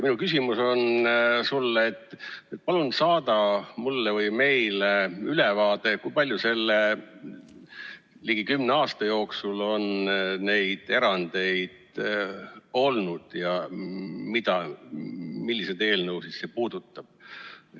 Minu küsimus sulle on, et palun saada mulle või meile ülevaade, kui palju selle ligi kümne aasta jooksul on neid erandeid olnud ja milliseid eelnõusid see puudutas.